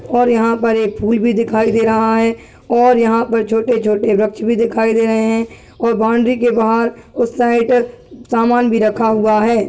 और यहाँ पर एक फूल भी दिखाई दे रहा हैं। और यहाँ पर छोटे -छोटे व्रक्ष भी दिखाई दे रहे हैं। और बाउंड्री के बाहर उस साइड समान भी रखा हुआ हैं।